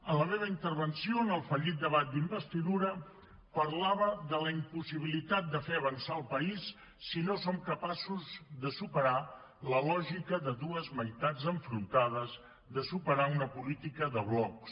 en la meva intervenció en el fallit debat d’investidura parlava de la impossibilitat de fer avançar el país si no som capaços de superar la lògica de dues meitats enfrontades de superar una política de blocs